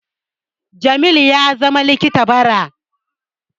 Jamil ya zama likita bara